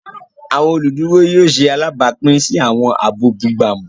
Awọn oluduro yóò ṣe alabapin si awọn aabọ bugbamu.